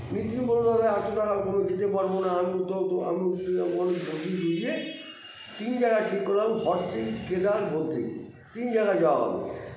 নিতীন বললো এতো টাকার কমে যেতে পারবোনা আমি তো তো আমি বলিয়ে বুঝিয়ে তিন জায়গায় ঠিক করলাম ভর্সিকেদার বদ্রী তিন জায়গায় যাওয়া হবে